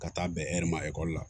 Ka taa bɛn hɛri ma ekɔli la